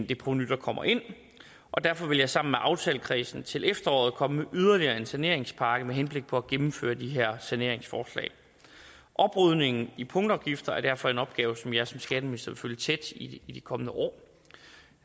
det provenu der kommer ind og derfor vil jeg sammen med aftalekredsen til efteråret komme med yderligere en saneringspakke med henblik på at gennemføre de her saneringsforslag oprydningen i punktafgifter er derfor en opgave som jeg som skatteminister vil følge tæt i de kommende år